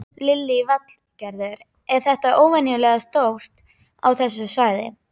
Lillý Valgerður: Er þetta óvenjustórt á þessu svæði?